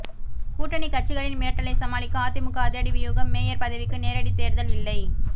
கூட்டணி கட்சிகளின் மிரட்டலை சமாளிக்க அதிமுக அதிரடி வியூகம் மேயர் பதவிக்கு நேரடி தேர்தல் இல்லை